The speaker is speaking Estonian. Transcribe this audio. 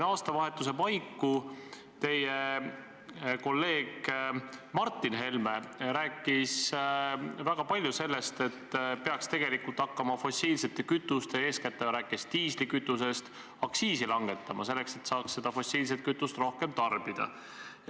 Aastavahetuse paiku teie kolleeg Martin Helme rääkis väga palju sellest, et peaks tegelikult hakkama fossiilsete kütuste – eeskätt ta rääkis diislikütusest – aktsiisi langetama, selleks et saaks fossiilset kütust rohkem tarbida.